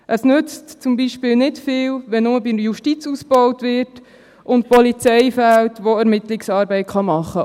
Es nützt zum Beispiel nicht viel, wenn nur in der Justiz ausgebaut wird und die Polizei, welche die Ermittlungsarbeit machen kann, fehlt.